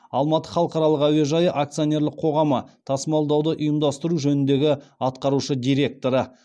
алматы халықаралық әуежайы акционерлік қоғамы тасымалдауды ұйымдастыру жөніндегі атқарушы директоры